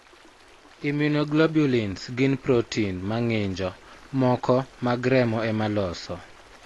Immunoglobulins gin protein ma ng'injo moko mag remo ema loso.